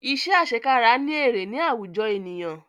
Iṣẹ́ àsekára ní èrè ní àwùjọ ènìyàn